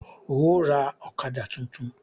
Óò ra ọ̀kadà tuntun!